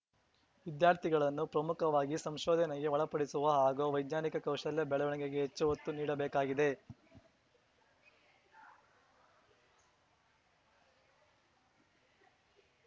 ವಿದ್ಯಾರ್ಥಿಗಳನ್ನು ಪ್ರಮುಖವಾಗಿ ಸಂಶೋಧನೆಗೆ ಒಳಪಡಿಸುವ ಹಾಗು ವೈಜ್ಞಾನಿಕ ಕೌಶಲ್ಯ ಬೆಳವಣಿಗೆಗೆ ಹೆಚ್ಚು ಒತ್ತು ನೀಡಬೇಕಾಗಿದೆ